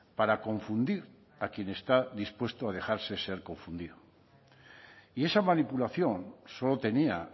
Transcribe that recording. para confundir a quien está dispuesto a dejarse ser confundido y esa manipulación solo tenía